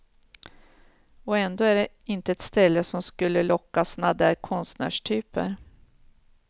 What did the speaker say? Och ändå är det inte ett ställe som skulle locka sådana där konstnärstyper.